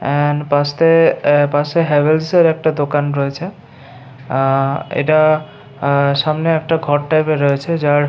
- এ এ পাশে হাভেলস এর একটা দোকান রয়েছে আ এটা আ সামনে একটা ঘর টাইপ এর রয়েছে যার --